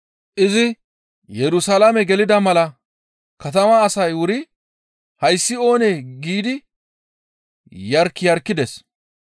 Izi Yerusalaame gelida mala katama asay wuri, «Hayssi oonee?» giidi yark yarkides.